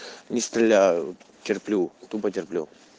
не стреляю терплю тупо терплю